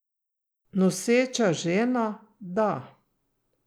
Noseča žena, da.